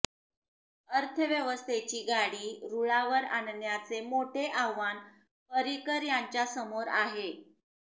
अर्थव्यवस्थेची गाडी रुळावर आणण्याचे मोठे आव्हान पर्रीकर यांच्यासमोर आहे